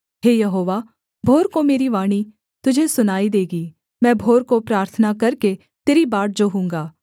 हे यहोवा भोर को मेरी वाणी तुझे सुनाई देगी मैं भोर को प्रार्थना करके तेरी बाट जोहूँगा